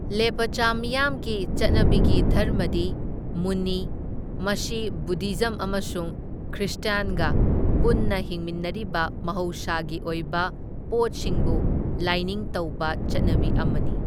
ꯂꯦꯄꯆꯥ ꯃꯤꯌꯥꯝꯒꯤ ꯆꯠꯅꯕꯤꯒꯤ ꯙꯔꯝꯃꯗꯤ ꯃꯨꯟꯅꯤ, ꯃꯁꯤ ꯕꯨꯙꯤꯖꯝ ꯑꯃꯁꯨꯡ ꯈ꯭ꯔꯤꯁꯇ꯭ꯌꯥꯟꯒ ꯄꯨꯟꯅ ꯍꯤꯡꯃꯤꯟꯅꯔꯤꯕ ꯃꯍꯧꯁꯥꯒꯤ ꯑꯣꯏꯕ ꯄꯣꯠꯁꯤꯡꯕꯨ ꯂꯥꯏꯅꯤꯡ ꯇꯧꯕ ꯆꯠꯅꯕꯤ ꯑꯃꯅꯤ꯫